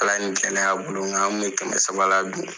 Ala ni gɛlɛya bolo , mɛ an tun bɛ kɛmɛ saba la dun!